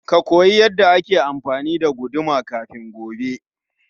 Ka koyi yanda ake amfani da guduma kafin gobe.